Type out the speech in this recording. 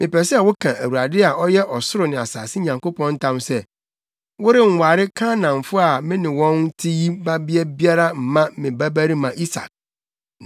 Mepɛ sɛ woka Awurade a ɔyɛ ɔsoro ne asase Nyankopɔn ntam sɛ, worenware Kanaanfo a me ne wɔn te yi babea biara mma me babarima Isak.